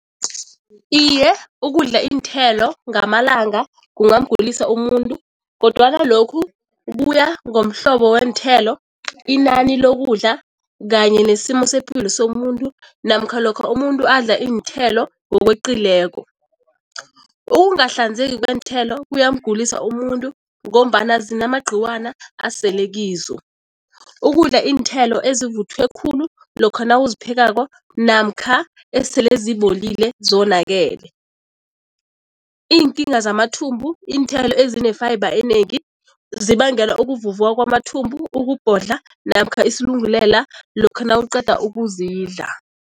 Iye, ukudla iinthelo ngamalanga kungamgulisa umuntu kodwana lokhu kuya ngomhlobo weenthelo, inani lokudla kanye nesimo sepilo somuntu namkha lokha umuntu adla iinthelo ngokweqileko. Ukungahlanzeki kweenthelo kuyamgulisa umuntu ngombana zinamagqiwana asele kizo. Ukudla iinthelo ezivuthwe khulu lokha nawuziphekako namkha esele zibolile, zonakele. Iinkinga zamathumbu, iinthelo ezine-fibre enengi zibangela ukuvuvuka kwamathumbu, ukubhodla namkha isilungulela lokha nawuqeda ukuzidla.